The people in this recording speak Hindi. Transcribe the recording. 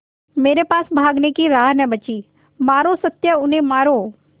मेरे पास भागने की राह न बची मारो सत्या उन्हें मारो